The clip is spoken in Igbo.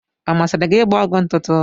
Ọ masịrị gị ịgba ọgwụ ntụtụ?